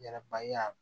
Ɲɛrɛba